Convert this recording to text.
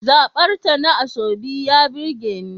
Zabarta na asoebi ya burge ni.